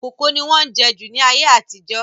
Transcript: Kókò ni wọ́n jẹ́ jù ní ayé àtijọ́